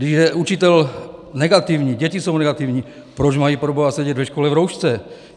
Když je učitel negativní, děti jsou negativní, proč mají proboha sedět ve škole v roušce?